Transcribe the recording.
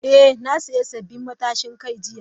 Eh, na sayi sabbin matashin kai jiya.